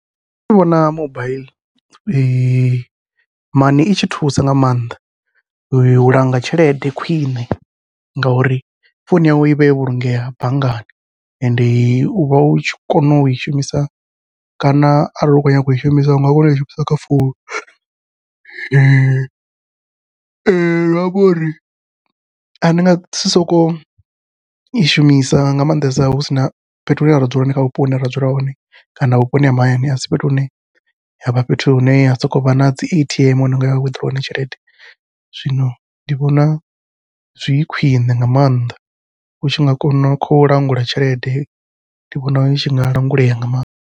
Nṋe ndi vhona mobaiḽi mani i tshi thusa nga maanḓa, u langa tshelede khwiṋe ngauri founu yawe ivha yo vhulungea banngani. Ende uvha u tshi kona ui shumisa kana arali hu khou nyanga ui shumisa unga kona ui shumisa kha founu, zwiamba uri a ni nga si sokou i shumisa nga maanḓesa hu sina fhethu hune ra dzula hone kha vhupo hune ra dzula hone kana vhuponi ha mahayani a si fhethu hune havha fhethu hune ha sokou vha nadzi A_T_M hune a ngaya wiḓirowa tshelede. Zwino ndi vhona zwi khwiṋe nga maanḓa utshi nga kona u khou langula tshelede ndi vhona u tshi nga langulea nga maanḓa.